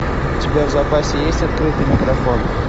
у тебя в запасе есть открытый микрофон